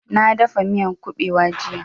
Na dafa miyan ƙubewa jiya